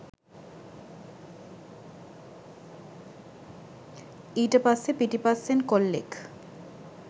ඊට පස්සේ පිටිපස්සෙන් කොල්ලෙක්